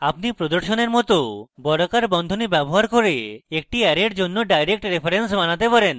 আপনি প্রদর্শনের মত বর্গাকার বন্ধনী ব্যবহার করে একটি অ্যারের জন্য direct reference বানাতে পারেন